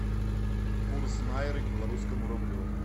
курс найры к белорусскому рублю